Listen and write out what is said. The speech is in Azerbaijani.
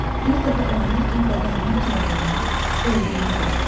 Bir dəfə oyanarkən bədəninin soyuduğunu, öldüyünü gördüm.